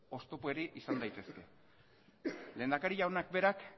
oztopori izan daitezke lehendakari jaunak berak